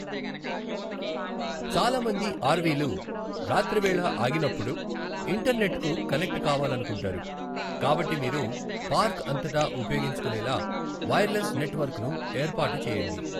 చాలా మంది ఆర్వీలు రాత్రివేళ ఆగిననప్పుడు ఇంటర్నెట్కు కనెక్ట్ కావాలనుకుంటారు, కాబట్టి మీరు పార్క్ అంతటా ఉపయోగించుకునేలా వైర్లెస్ నెట్వర్క్ను ఏర్పాటు చేయండి.